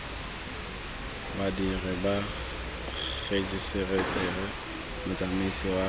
badiri ba rejiseteri motsamaisi wa